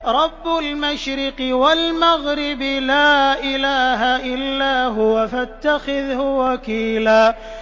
رَّبُّ الْمَشْرِقِ وَالْمَغْرِبِ لَا إِلَٰهَ إِلَّا هُوَ فَاتَّخِذْهُ وَكِيلًا